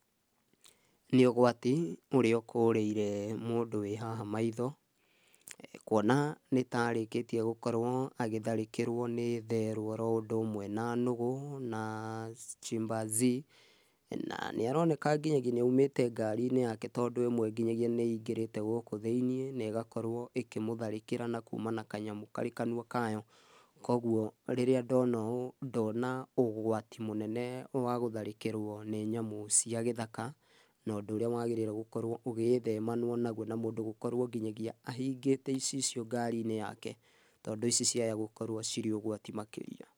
Nĩ ũgwati ũrĩa ũkũrĩire mũndũ wĩhaha maitho, kuona nĩta arĩkĩtie gũkorwo agĩtharĩkĩrwo nĩ therũ oro ũndũ ũmwe na nũgũ na chimpanzee na nĩaroneka nginyagia nĩ aumĩte ngari-inĩ yake, tondũ ĩmwe nginyagia nĩingĩrĩte gũkũ thĩiniĩ nĩ ĩgakorwo ĩkimũtharikirĩ nĩ kuma na kanyamũ karĩ kanua kayo. Koguo rĩrĩa ndona ũũ ndona ũgwati mũnene wa gũtharĩkirwo nĩ nyamũ cia gĩthaka na ũndũ ũrĩa wagĩrairwo gũkorwo ũgĩthemanwo naguo, na mũndũ gũkorwo nginya ahingĩte icicio ngari-inĩ yake tondũ ici ciahota gũkorwo cirĩ ũgwati makĩria